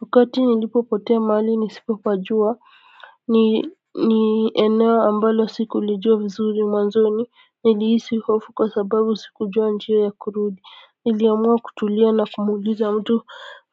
Wakati nilipopotea mahali nisipopajuwa ni eneo ambalo sikulijua vizuri mwanzoni nilihisi hofu kwa sababu sikujua njia ya kurudi niliamua kutulia na kumuuliza mtu